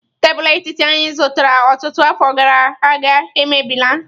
Tebụl etiti anyị zụtara ọtụtụ afọ gara aga emebi la.